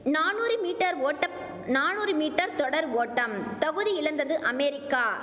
நானூறு மீட்டர் ஓட்ட நானூறு மீட்டர் தொடர் ஓட்டம் தகுதியிழந்தது அமெரிக்கா